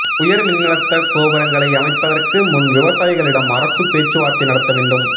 உயா் மின்னழுத்த கோபுரங்களை அமைப்பதற்கு முன் விவசாயிகளிடம் அரசு பேச்சுவாா்த்தை நடத்த வேண்டும்